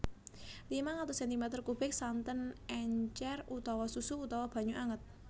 limang atus sentimeter kubik santen encer utawa susu utawa banyu anget